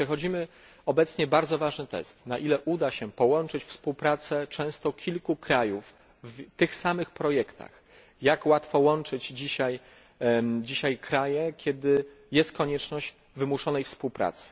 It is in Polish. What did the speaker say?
Przechodzimy obecnie bardzo ważny test, na ile uda połączyć się współpracę często kilku krajów w tych samych projektach, jak łatwo łączyć dzisiaj kraje, kiedy jest konieczność wymuszonej współpracy.